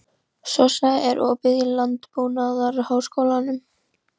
Sossa, er opið í Landbúnaðarháskólanum?